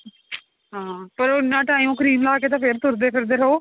ਹਾਂ ਪਰ ਉਹ ਇੰਨਾ time cream ਲਾ ਕੇ ਤਾਂ ਫੇਰ ਤੁਰਦੇ ਫਿਰਦੇ ਰਹੋ